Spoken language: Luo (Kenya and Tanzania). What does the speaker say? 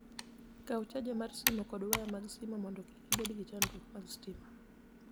Kaw charger mar simo kod waya mag simo mondo kik ibed gi chandruok mag sitima.